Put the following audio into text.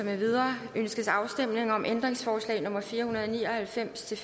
med videre ønskes afstemning om ændringsforslag nummer fire hundrede og ni og halvfems til